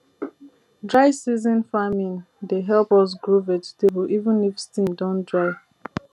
dry season farming dey help us grow vegetable even if stream don dry